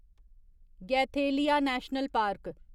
Galathea National park